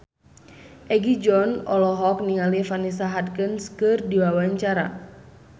Egi John olohok ningali Vanessa Hudgens keur diwawancara